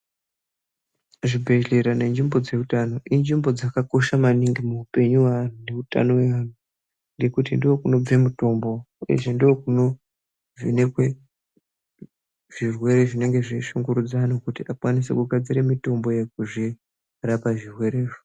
Zvibhedhlera nenzvimbo dzeutano, inzvimbo dzakakosha maningi muupenyu weanhu neutano weanhu ngekuti, ndokunobve mutombo, ndokunovhenekwe zvirwere zvinonga zveishungurudza anhu kuti vakwanise kugadzire mitombo yekuzvirapa zvirwerezvo.